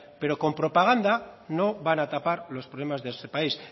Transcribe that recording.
pero con propaganda no van a tapar los problemas de este país